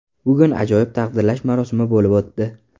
Bugun ajoyib taqdirlash marosimi bo‘lib o‘tdi.